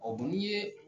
n'i ye